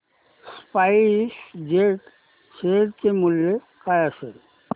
spice jet share चे मूल्य काय असेल